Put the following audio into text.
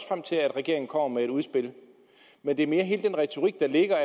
frem til at regeringen kommer med et udspil men det er mere hele den der retorik der ligger